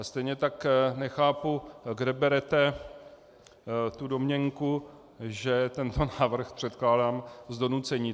A stejně tak nechápu, kde berete tu domněnku, že tento návrh předkládám z donucení.